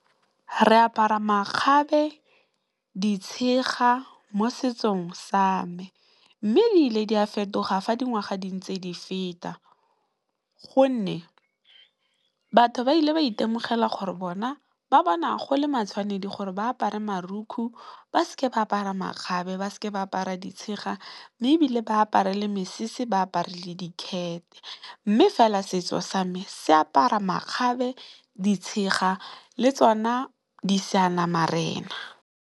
Re apara makgabe, di tshega mo setsong sa me mme, ile di a fetoga fa dingwaga di ntse di feta gonne, batho ba ile ba itemogela gore bona ba bona go le matshwanedi gore ba apare marukgu ba se ke ba apara makgabe, ba se ke ba apara di tshega mme, ebile ba apare mesese ba apare le dikhete. Mme, fela setso sa me se apara makgabe ditshega le tsona di Seanamarena.